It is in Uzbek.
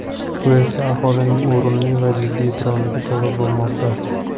Bu esa aholining o‘rinli va jiddiy e’tiroziga sabab bo‘lmoqda.